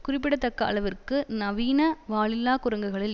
குறிப்பிடத்தக்க அளவிற்கு நவீன வாலில்லா குரங்குகளில்